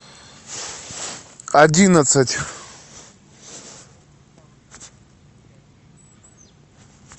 одиннадцать